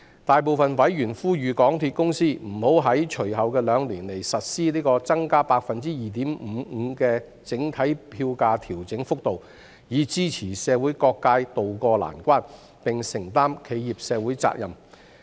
大部分委員呼籲港鐵公司不要在隨後兩年實施 +2.55% 的整體票價調整幅度，以支持社會各界渡過難關，並承擔企業社會責任。